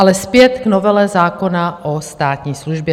Ale zpět k novele zákona o státní službě.